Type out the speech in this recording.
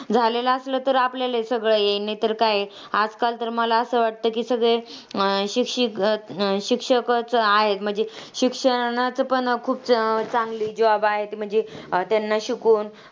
झालेला असलां तर आपल्याला हे सगळं येईल. नाहीतर काय, आजकाल तर मला असं वाटतं की सगळे शिक्षी अं शिक्षकच आहे म्हणजे शिक्षणाचं पण खूप चांगली job आहे. म्हणजे त्यांना शिकून